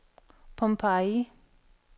Pompeii